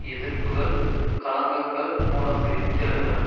எதிர்ப்புக்கள் கலங்கங்கள் மூலம் வெடித்தெழுந்தன